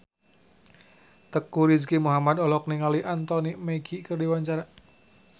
Teuku Rizky Muhammad olohok ningali Anthony Mackie keur diwawancara